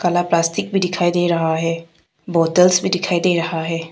काला प्लास्टिक भी दिखाई दे रहा है । बॉटल्स भी दिखाई दे रहा है।